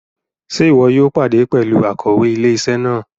Ṣe ìwò yóò pàdé pẹlú Akòwé ilé-isé náà?